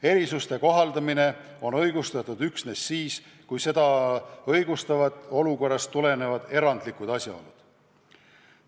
Erisuste kohaldamine on õigustatud üksnes siis, kui seda õigustavad olukorrast tulenevad erandlikud asjaolud.